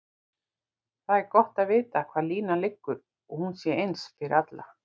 Það er gott að vita hvar línan liggur og hún sé eins fyrir alla.